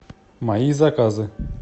мои заказы